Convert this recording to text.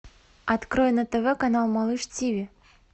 открой на тв канал малыш тиви